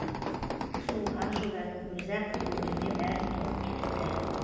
сол аз жылдардың өзі ақ көңіліме бәрін тоқып кетіпті